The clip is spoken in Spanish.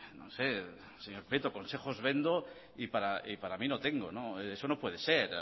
no sé señor prieto consejos vendo y para mi no tengo eso no puede ser